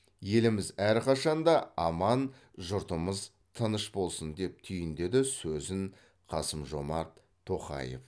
еліміз әрқашанда аман жұртымыз тыныш болсын деп түйіндеді сөзін қасым жомарт тоқаев